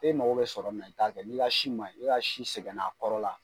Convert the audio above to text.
E mako bɛ sɔrɔ min'a i ta kɛ ni ka si maɲi, e ka si sɛgɛn na a kɔrɔ la.